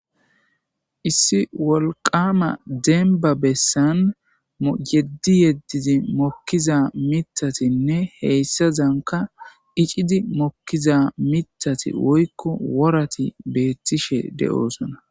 Issi wolqama demba bessan yeddi yeddizi mokkiza mitatinne heysazanka icidi mokkiza mitati woykko worati betishe de'sona.